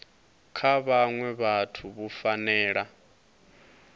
kha vhaṅwe vhathu vhu fanela